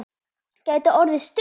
Gæti orðið stuð!